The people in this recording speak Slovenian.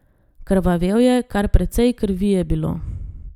Krvavel je, kar precej krvi je bilo.